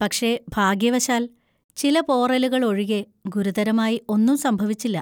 പക്ഷേ, ഭാഗ്യവശാൽ, ചില പോറലുകൾ ഒഴികെ ഗുരുതരമായി ഒന്നും സംഭവിച്ചില്ല.